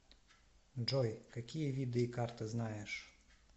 джой какие виды икар ты знаешь